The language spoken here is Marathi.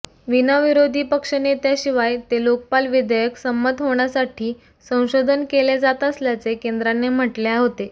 विना विरोधी पक्षनेत्याशिवाय ते लोकपाल विधेयक संमत होण्यासाठी संशोधन केले जात असल्याचे केंद्राने म्हटले होते